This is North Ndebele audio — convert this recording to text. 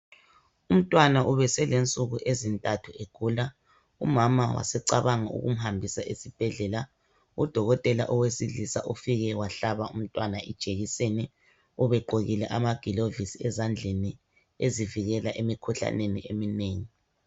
Umntwana ubeselensuku ezintathu egula umama wasecabanga ukumhambisa esibhedlela. Udokotela owesilisa ufike wahlaba umntwana ijekiseni, ubegqokile amagilovisi ezandleni ezivikela emikhuhlaneni eminengi